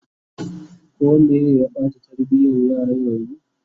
koh Meye Bata tarbiyan yaran yanzun?